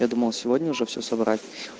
я думал сегодня уже все собрали